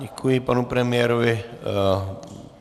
Děkuji panu premiérovi.